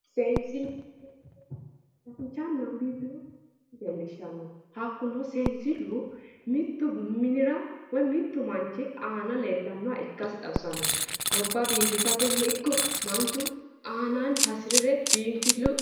sensille:-sensillu danchanna biinfile xawisano mittu minira woyi mittu manchi aana leellannoha ika xawisanno goba biifisatenni iko manchu anaanni hasirire biinfillu